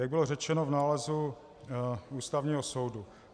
Jak bylo řečeno v nálezu Ústavního soudu.